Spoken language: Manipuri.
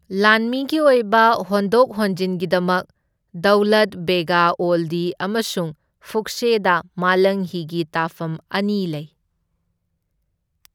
ꯂꯥꯟꯃꯤꯒꯤ ꯑꯣꯏꯕ ꯍꯣꯟꯗꯣꯛ ꯍꯣꯟꯖꯤꯟꯒꯤꯗꯃꯛ ꯗꯧꯂꯠ ꯕꯦꯒ ꯑꯣꯜꯗꯤ ꯑꯃꯁꯨꯡ ꯐꯨꯛꯁꯦꯗ ꯃꯥꯂꯪꯍꯤꯒꯤ ꯇꯥꯐꯝ ꯑꯅꯤ ꯂꯩ꯫